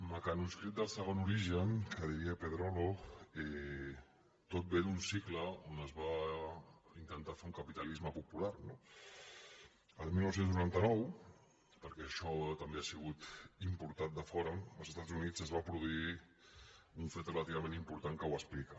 mecanoscrit del segon origen que diria pedrolo tot ve d’un cicle on es va intentar fer un capitalisme po·pular no el dinou noranta nou perquè això també ha sigut im·portat de fora als estats units es va produir un fet relativament important que ho explica